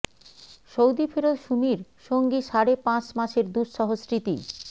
Saudi ফেরত সুমির সঙ্গী সাড়ে পাঁচ মাসের দুঃসহ স্মৃতি